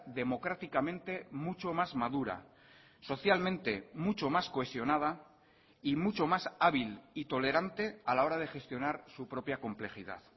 democráticamente mucho más madura socialmente mucho mas cohesionada y mucho más hábil y tolerante a la hora de gestionar su propia complejidad